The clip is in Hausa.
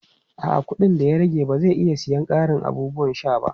A'a, kuɗin da ya rage ba zai iya siyan ƙarin abubuwan sha ba.